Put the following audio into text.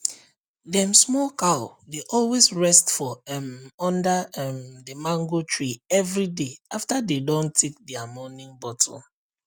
dem small cow dey always rest for um under um the mango tree everyday after dey don take dia morning bottle